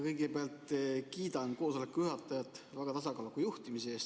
Kõigepealt kiidan koosoleku juhatajat väga tasakaaluka juhtimise eest.